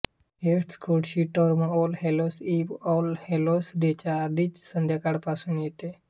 हे Scottish term all hallows eve all hallows डेच्या आधीची संध्याकाळ पासून येते